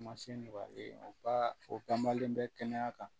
Ma se nɔgɔlen ye u ka o banmalen bɛ kɛnɛya kan